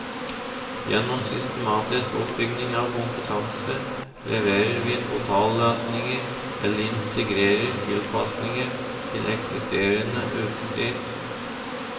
Gjennom systematisk oppbygging av kompetanse leverer vi totalløsninger eller integrerer tilpasninger til eksisterende utstyr.